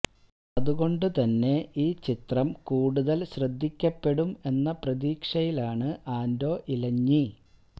അതുകൊണ്ട് തന്നെ ഈ ചിത്രം കൂടുതൽ ശ്രദ്ധിക്കപ്പെടും എന്ന പ്രതീക്ഷയിലാണ് ആൻ്റോ ഇലഞ്ഞി